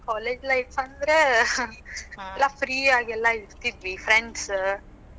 ಹ್ಮ್ college life ಅಂದ್ರ, ಎಲ್ಲಾ free ಆಗೆಲ್ಲಾ ಇರ್ತಿದ್ವಿ friends ಅ,